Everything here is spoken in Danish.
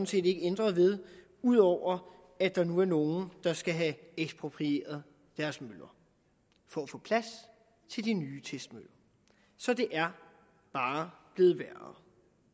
set ikke ændret ved ud over at der nu er nogle der skal have eksproprieret deres møller for at få plads til de nye testmøller så det er bare blevet værre